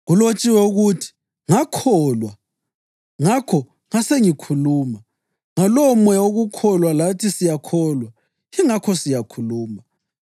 Kulotshiwe ukuthi: “Ngakholwa; ngakho ngasengikhuluma.” + 4.13 AmaHubo 116.10 Ngalowomoya wokukholwa lathi siyakholwa, yingakho siyakhuluma,